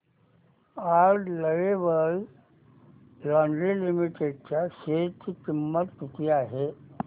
आज Lovable Lingerie Limited च्या शेअर ची किंमत किती आहे